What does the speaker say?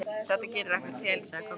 Þetta gerir ekkert til, sagði Kobbi.